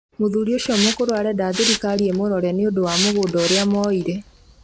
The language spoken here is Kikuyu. Mũthuri ũcio mũkũrũ arenda thirikari ĩmũrore nĩũndũ wa mũgũnda ũrĩa moire